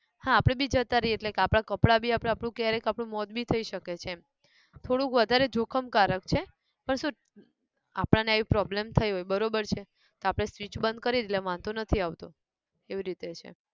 હા આપણે બી જતા રહીએ એટલે કે આપણા કપડાં બી ક્યારેક આપણું મોત બી થઇ શકે છે, થોડુંક વધારે જોખમ કારક છે પણ શું આપણા ને આવી problem થઇ હોય બરોબર છે તો આપણે switch બંધ કરી એટલે વાંધો નથી એવી રીતે છે